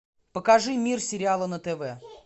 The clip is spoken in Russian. покажи мир сериала на тв